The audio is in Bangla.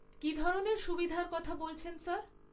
কী ধরনের সুবিধার কথা বলছেন স্যার?